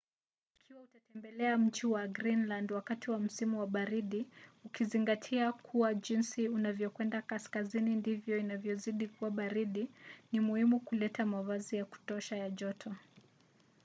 ikiwa utatembelea mji wa greenland wakati wa msimu wa baridi ukizingatia kuwa jinsi unavyokwenda kaskazini ndivyo inavyozidi kuwa baridi ni muhimu kuleta mavazi ya kutosha ya joto